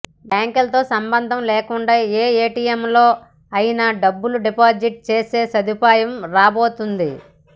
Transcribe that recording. బ్యాంకులతో సంబంధం లేకుండా ఏ ఏటీఎంలో అయినా డబ్బులు డిపాజిట్ చేసే సదుపాయం రాబోతోంది